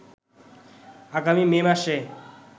আগামী মে মাসে